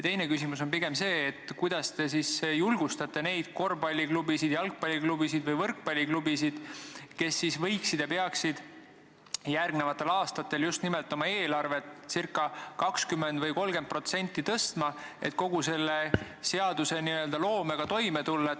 Teine küsimus on see, kuidas te siis julgustate neid korvpalliklubisid, jalgpalliklubisid ja võrkpalliklubisid, kes peaksid järgmistel aastatel oma eelarvet ca 20% või 30% suurendama, et uue seaduse nõuetega toime tulla.